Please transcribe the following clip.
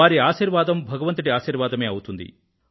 వారి ఆశీర్వాదం భగవంతుడి ఆశీర్వాదమే అవుతుంది